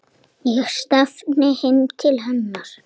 LÁRUS: Er það satt?